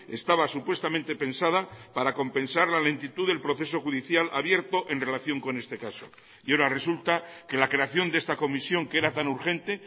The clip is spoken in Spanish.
estaba supuestamente pensada para compensar la lentitud del proceso judicial abierto en relación con este caso y ahora resulta que la creación de esta comisión que era tan urgente